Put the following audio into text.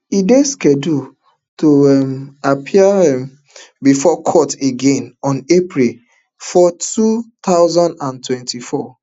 e dey scheduled to um appear um before court again on april four two thousand and twenty-four